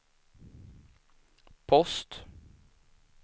post